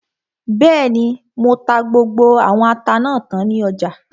Bẹ́ẹ̀ni, mo ta gbogbo àwọn ata náà tán ní ọjà